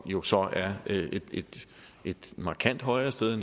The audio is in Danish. jo så et markant højere sted